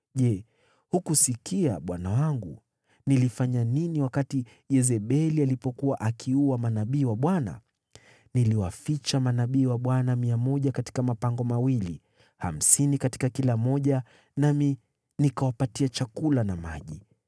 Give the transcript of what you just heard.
Je, hukusikia, bwana wangu, nilifanya nini wakati Yezebeli alipokuwa akiua manabii wa Bwana ? Niliwaficha manabii wa Bwana mia moja katika mapango mawili, hamsini katika kila moja, nami nikawapatia chakula na maji.